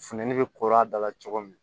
Funtɛni bɛ koro a dala cogo min